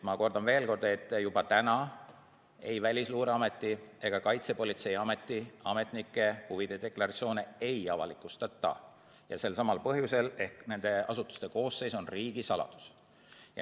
Ma kordan veel kord: juba täna Välisluureameti ega Kaitsepolitseiameti ametnike huvide deklaratsioone ei avalikustata, selsamal põhjusel, et nende asutuste koosseis on riigisaladus.